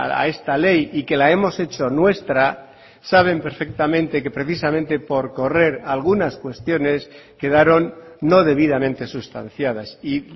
a esta ley y que la hemos hecho nuestra saben perfectamente que precisamente por correr algunas cuestiones quedaron no debidamente sustanciadas y